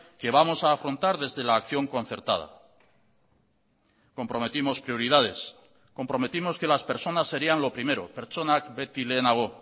que vamos a afrontar desde la acción concertada comprometimos prioridades comprometimos que las personas serían lo primero pertsonak beti lehenago